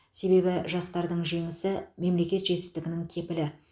себебі жастардың жеңісі мемлекет жетістігінің кепілі